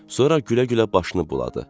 Sonra gülə-gülə başını buladı.